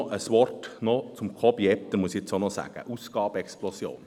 Noch ein Wort zu Jakob Etter zur Ausgabenexplosion.